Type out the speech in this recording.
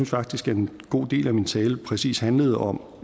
faktisk at en god del af min tale præcis handlede om